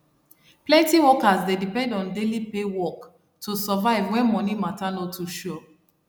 plenty workers dey depend on daily pay work to survive when moni matter no too sure